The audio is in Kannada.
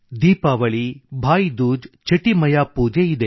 ದೀಪಾವಳಿ ಭಾವನ ಬಿದಿಗೆ ಛಟಿ ಮಾತಾ ಪೂಜೆ ಇದೆ